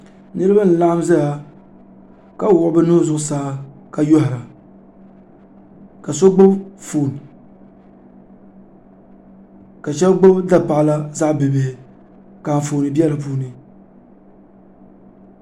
Niriba n-laɣim zaya ka wuɣi bɛ nuhi zuɣusaa ka yɔhira ka so gbubi foon ka shɛba gbubi dapaɣila ka zaɣ'bibihi ka anfooni be di puuni.